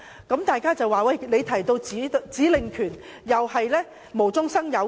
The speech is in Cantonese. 有人會說，中央所說的指令權是無中生有。